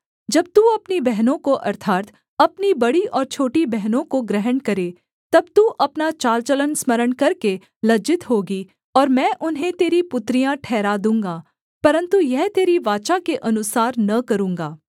जब तू अपनी बहनों को अर्थात् अपनी बड़ी और छोटी बहनों को ग्रहण करे तब तू अपना चाल चलन स्मरण करके लज्जित होगी और मैं उन्हें तेरी पुत्रियाँ ठहरा दूँगा परन्तु यह तेरी वाचा के अनुसार न करूँगा